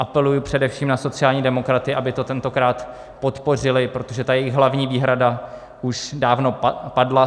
Apeluji především na sociální demokraty, aby to tentokrát podpořili, protože ta jejich hlavní výhrada už dávno padla.